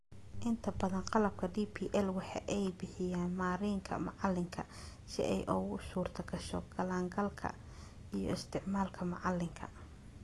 Inta badan qalabka DPL waxa ay bixiyaan marinka macalinka si ay ugu suurtagasho galaangalka iyo isticmaalka macalinka.